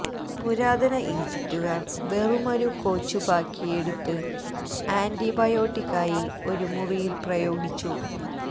പുരാതന ഈജിപ്തുകാർ വെറുമൊരു കൊച്ചുപാകിയെടുത്ത് ആൻറിബയോട്ടിക്കായി ഒരു മുറിയിൽ പ്രയോഗിച്ചു